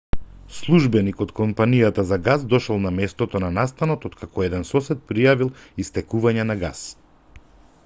службеник од компанијата за гас дошол на местото на настанот oткако еден сосед пријавил истекување на гас